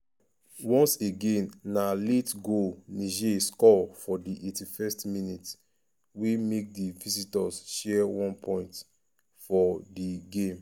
um once again na late goal niger score for di 81st minute um wey make di visitors share one point um for di game.